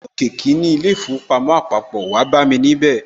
Áá wà ní òkè kí í ilé īfowòpamó àpapò, wáá bámi níbẹ̀